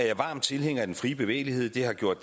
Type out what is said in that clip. er varm tilhænger af den frie bevægelighed det har gjort